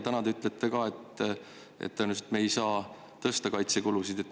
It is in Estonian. Täna te ütlesite ka, et tõenäoliselt me ei saa kaitsekulusid tõsta.